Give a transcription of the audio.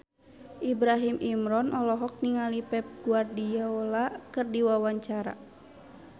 Ibrahim Imran olohok ningali Pep Guardiola keur diwawancara